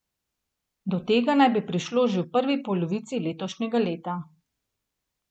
Do tega naj bi prišlo že v prvi polovici letošnjega leta.